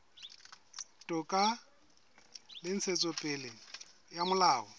toka le ntshetsopele ya molao